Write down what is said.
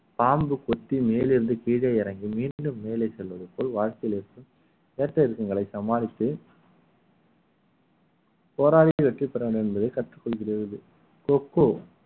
பாம்பு குத்தி மேலிருந்து கீழே இறங்கி மீண்டும் மேலே செல்வது போல் வாழ்க்கையில் இருக்கும் ஏற்ற இறக்கங்களை சமாளித்து போராடி வெற்றி பெற வேண்டும் என்பதை கற்றுக்கொள்கிறது கொக்கோ